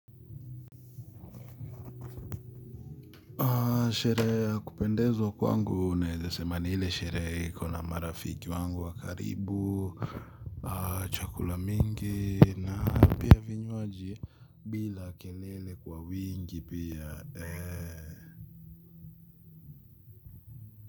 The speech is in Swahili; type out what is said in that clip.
Sherehe ya kupendezwa kwangu naeza sema ni ile sherehe iko na marafiki wangu wakaribu, chakula mingi na pia vinywaji bila kelele kwa wingi pia.